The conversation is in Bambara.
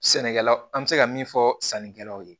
Sɛnɛkɛlaw an bɛ se ka min fɔ sannikɛlaw ye